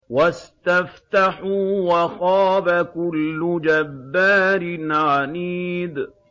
وَاسْتَفْتَحُوا وَخَابَ كُلُّ جَبَّارٍ عَنِيدٍ